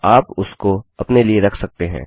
या आप उसको अपने लिए रख सकते हैं